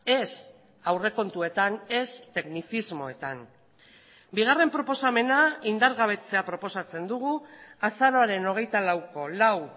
ez aurrekontuetan ez teknizismoetan bigarren proposamena indargabetzea proposatzen dugu azaroaren hogeita lauko lau